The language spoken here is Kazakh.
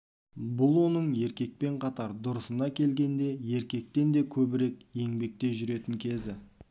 бұл оның еркекпен қатар дұрысына келгенде еркектен де көбірек еңбекте жүретін кезі